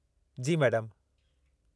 जी मैडमु।